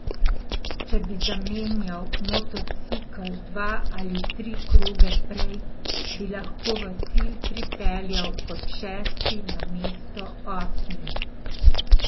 Če bi zamenjal motocikel dva ali tri kroge prej, bi lahko v cilj pripeljal kot šesti namesto osmi.